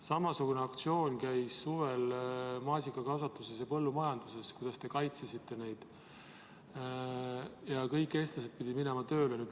Samasugune aktsioon käis suvel maasikakasvatuses ja põllumajanduses, kui te kaitsesite seda ja kõik eestlased pidid sinna tööle minema.